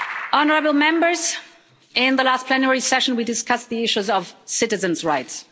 Honourable Members, in the last plenary session we discussed the issues of citizens' rights.